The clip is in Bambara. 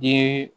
Den